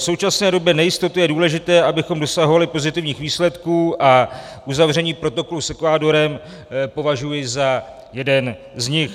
V současné době nejistoty je důležité, abychom dosahovali pozitivních výsledků, a uzavření protokolu s Ekvádorem považuji za jeden z nich.